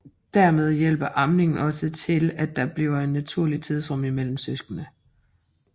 Dermed hjælper amning også til at der bliver et naturligt tidsrum imellem søskende